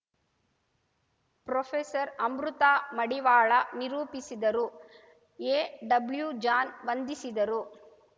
professor Amrita Madivala ನಿರೂಪಿಸಿದರು A W John ವಂದಿಸಿದರು